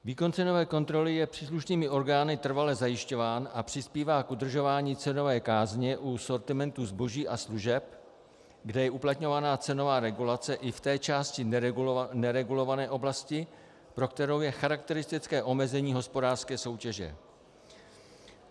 Výkon cenové kontroly je příslušnými orgány trvale zajišťován a přispívá k udržování cenové kázně u sortimentu zboží a služeb, kde je uplatňována cenová regulace i v té části neregulované oblasti, pro kterou je charakteristické omezení hospodářské soutěže.